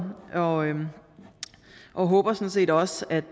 og og håber sådan set også at